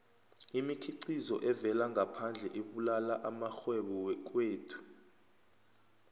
imikhiqizo evela ngaphandle ibulala amarhwebo wekhethu